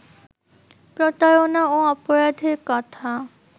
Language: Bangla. প্রতারণা ও অপরাধের কথা